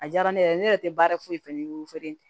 A diyara ne yɛrɛ ye ne yɛrɛ tɛ baara foyi foyi